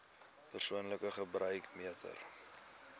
persoonlike gebruik meter